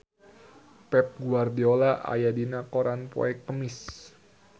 Pep Guardiola aya dina koran poe Kemis